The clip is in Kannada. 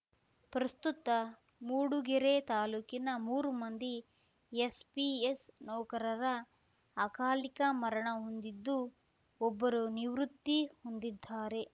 ಪ್ರಸ್ತುತ ಮೂಡುಗೆರೆ ತಾಲೂಕಿನ ಮೂರು ಮಂದಿ ಎಸ್ಪಿಎಸ್‌ ನೌಕರರ ಅಕಾಲಿಕ ಮರಣ ಹೊಂದಿದ್ದು ಒಬ್ಬರು ನಿವೃತ್ತಿ ಹೊಂದಿದ್ದಾರೆ